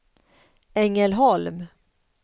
Ängelholm